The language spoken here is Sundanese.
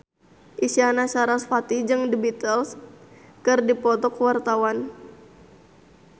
Isyana Sarasvati jeung The Beatles keur dipoto ku wartawan